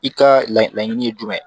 I ka laɲini ye jumɛn ye